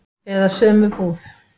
Eða sömu búð.